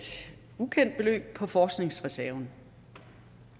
ukendt beløb på forskningsreserven